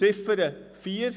Zu Ziffer 4